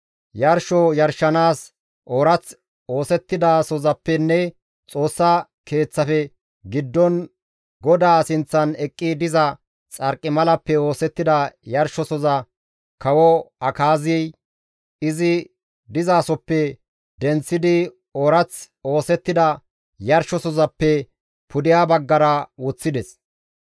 Yarsho yarshanaas oorath oosettidasozappenne Xoossa Keeththafe giddon GODAA sinththan eqqi diza xarqimalappe oosettida yarshosoza kawo Akaazey izi dizasoppe denththidi oorath oosettida yarshosohozappe pudeha baggara woththides.